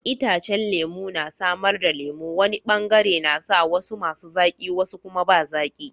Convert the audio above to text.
Itacen lemu na samar da lemu, wani bangare nasa, wasu masu zaki wasu kuma ba zaki